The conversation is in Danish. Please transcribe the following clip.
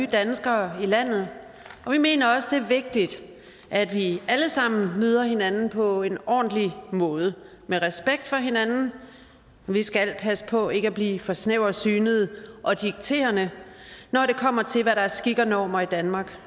danskere i landet vi mener også det er vigtigt at vi alle sammen møder hinanden på en ordentlig måde med respekt for hinanden og vi skal passe på ikke at blive for snæversynede og dikterende når det kommer til hvad der er skik og normer i danmark